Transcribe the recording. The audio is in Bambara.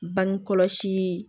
Bange kɔlɔsi